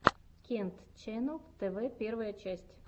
кент ченнал тв первая часть